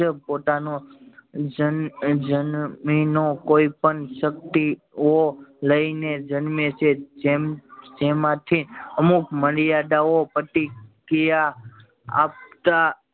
જન્મી નો જન્મી ઓ કોઈ પણ શક્તિઓ લઈ ને જન્મે છે જેમ જેમાં થી અમુક મર્યાદા ઓ પ્રતિક્રિયા આપતા